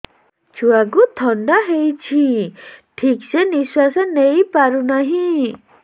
ଛୁଆକୁ ଥଣ୍ଡା ହେଇଛି ଠିକ ସେ ନିଶ୍ୱାସ ନେଇ ପାରୁ ନାହିଁ